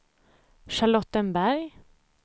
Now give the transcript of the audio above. Charlottenberg